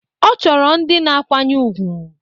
Ọ chọrọ ndị na-akwanye ùgwù